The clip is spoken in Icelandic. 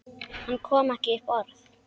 Hann kom ekki upp orði.